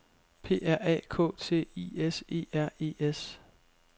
P R A K T I S E R E S